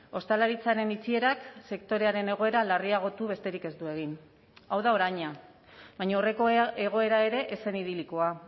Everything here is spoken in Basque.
ostalaritzaren itxierak sektorearen egoera larriagotu besterik ez du egin hau da oraina baina aurreko egoera ere ez zen idilikoa